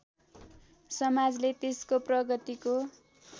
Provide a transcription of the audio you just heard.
समाजले त्यसको प्रगतिको